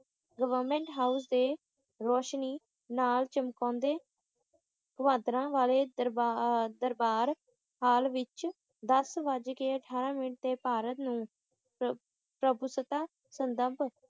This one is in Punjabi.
ਗਵਰਮੈਂਟ ਹਾਊਸ ਦੇ ਰੋਸ਼ਨੀ ਨਾਲ ਚਮਕਾਉਂਦੇ ਕਵਾਟਰਾਂ ਵਾਲੇ ਦਰਬਾਰ`ਦਰਬਾਰ ਹਾਲ ਵਿੱਚ ਦਸ ਵੱਜ ਕੇ ਅਠਾਰਾਂ ਮਿੰਟ ਤੇ ਭਾਰਤ ਨੂੰ ਪ੍ਰਭੂਸੱਤਾ ਸੰਬੰਧ